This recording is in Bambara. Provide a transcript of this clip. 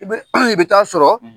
I bɛ an bi taa sɔrɔ